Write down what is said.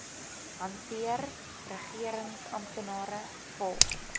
hanteer regeringsamptenare volg